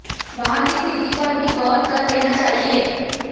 वहां की स्थिति पर भी गौर कर लेना चाहिए